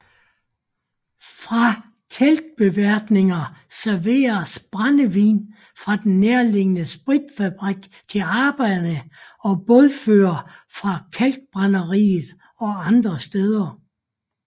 Fra teltbeværtninger serveredes brændevin fra den nærliggende spritfabrik til arbejdere og bådførere fra kalkbrænderiet og andre steder